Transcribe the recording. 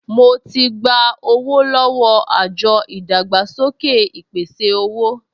Mo ti gba owó lọ́wọ́ àjọ ìdàgbàsókè ìpèsè-owó